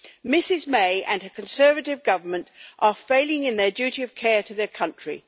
Ms May and her Conservative Government are failing in their duty of care to the country.